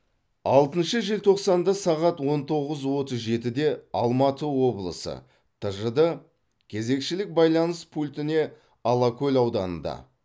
алтыншы желтоқсанда сағат он тоғыз отыз жетіде алматы облысы тжд кезекшілік байланыс пультіне алакөл ауданында